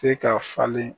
Se ka falen